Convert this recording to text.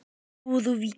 Í súðavík